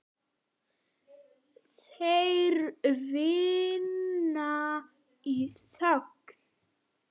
Þeir vinna í þögn.